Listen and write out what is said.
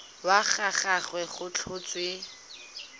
wa ga gagwe go tlhotswe